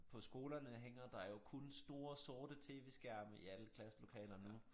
På skolerne hænger der jo kun store sorte tv-skærme i alle klasselokaler nu